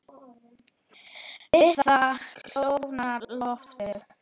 Við það kólnar loftið.